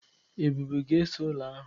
Ebube ga-ese ụlọ ahụ.